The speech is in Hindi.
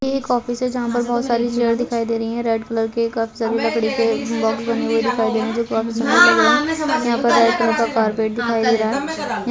ये एक ऑफिस है जहाँ पर बहोत सारी चेयर्स दिखाई दे रही है रेड कलर की काफी सारे लकड़ी के बॉक्स बने हुए दिखाई दे रहे है जो काफी सुन्दर लग रहे है यहाँ पर रेड कलर का कारपेट दिखाई दे रहा है।